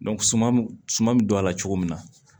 suman bɛ don a la cogo min na